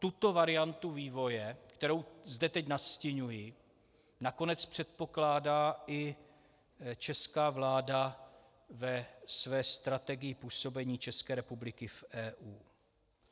Tuto variantu vývoje, kterou zde teď nastiňuji, nakonec předpokládá i česká vláda ve své strategii působení České republiky v EU.